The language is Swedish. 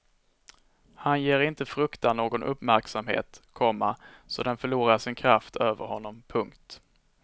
Han ger inte fruktan någon uppmärksamhet, komma så den förlorar sin kraft över honom. punkt